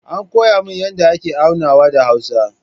An koya min yadda ake aunawa da hausa